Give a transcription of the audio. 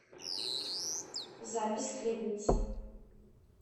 запись хлебница